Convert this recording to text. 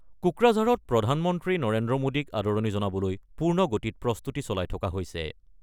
কোকৰাঝাৰত প্ৰধানমন্ত্ৰী নৰেন্দ্ৰ মোডীক আদৰণি জনাবলৈ পূৰ্ণ গতিত প্ৰস্তুতি চলাই থকা হৈছে।